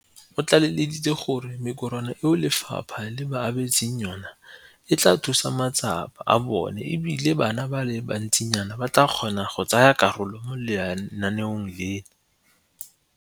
O tlaleleditse ka gore mekorwana eo lefapha le ba abetseng yone e tla thusa matsapa a bone e bile bana ba le bantsinyana ba tla kgona go tsaya karolo mo lenaaneng leno.